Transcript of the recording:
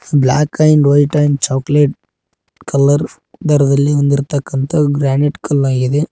Block and white and chocolate colour ದರದಲ್ಲಿ ಇಂದಿರ ತಕ್ಕಂತ ಗ್ರಾನೈಟ್ ಕಲ್ ಆಗಿದೆ.